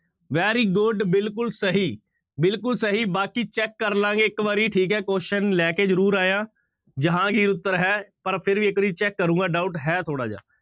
Very good ਬਿਲਕੁਲ ਸਹੀ ਬਿਲਕੁਲ ਸਹੀ ਬਾਕੀ check ਕਰ ਲਵਾਂਗੇ ਇੱਕ ਵਾਰੀ ਠੀਕ ਹੈ question ਲੈ ਕੇ ਜ਼ਰੂਰ ਆਇਆਂ ਜਹਾਂਗੀਰ ਉੱਤਰ ਹੈ ਪਰ ਫਿਰ ਵੀ ਇੱਕ ਵਾਰੀ check ਕਰਾਂਗਾ doubt ਹੈ ਥੋੜ੍ਹਾ ਜਿਹਾ।